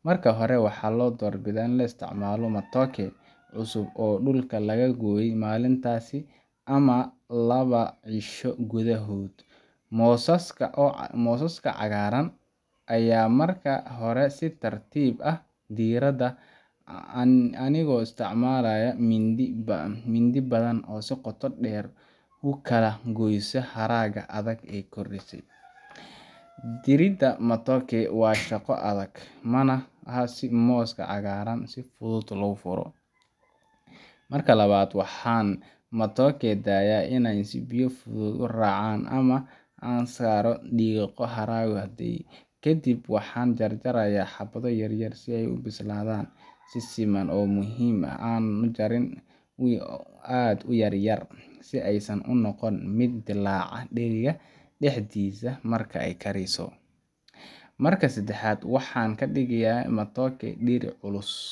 Marka hore, waxaan doorbidaa inaan isticmaalo matooke cusub oo dhulka laga gooyay maalintaas ama laba cisho gudahood. Mooskaas cagaaran ayaan marka hore si tartiib ah u diiraa, anigoo isticmaalaya mindi af badan oo si qoto dheer u kala goysa haragga adag ee korkiisa yaalla. Diiridda matooke waa shaqo adag, mana aha sida mooska macaan oo si fudud loo furo. Marka labaad, waxaan matooke daayaa inay biyo si fudud u raacaan ama ka saarno dhiiqo iyo haraggo hadhay. Kadib waxaan jarjarayaa xabbado yaryar si ay u bislaadaan si siman. Waxaa muhiim ah in aanan jarin aad u yaryar, si aysan u noqon mid ku dillaacda dheriga dhexdiisa markay kariyso. Marka saddexaad, waxaan dhigaa matooke dheri culus